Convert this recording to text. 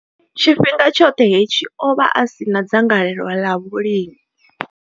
Tshifhinga tshoṱhe hetshi, o vha a si na dzangalelo ḽa vhulimi.